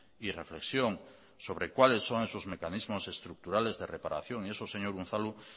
y reflexión sobre cuáles son esos mecanismos estructurales de reparación y eso señor unzalu